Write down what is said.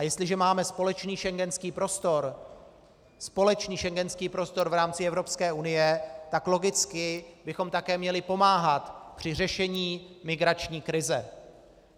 A jestliže máme společný schengenský prostor, společný schengenský prostor v rámci Evropské unie, tak logicky bychom také měli pomáhat při řešení migrační krize.